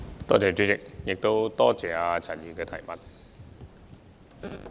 代理主席，多謝陳議員的補充質詢。